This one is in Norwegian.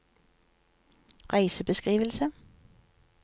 reisebeskrivelse